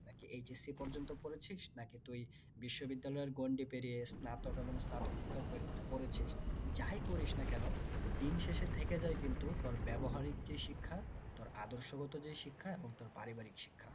নাকি HSC পর্যন্ত পড়েছিস নাকি তুই বিশ্ববিদ্যালয়ের গণ্ডি পেরিয়ে স্নাতক এবং স্নাতকোত্তর পড়েছিস যাই করিস না কেনো দিন শেষে থেকে যায় কিন্তু তোর ব্যবহারিক যে শিক্ষা তোর আদর্শগত যেই শিক্ষা এবং তোর পারিবারিক শিক্ষা